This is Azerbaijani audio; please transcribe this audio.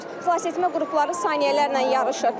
Xilasetmə qrupları saniyələrlə yarışır.